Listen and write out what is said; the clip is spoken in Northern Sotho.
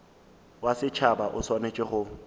wa setšhaba o swanetše go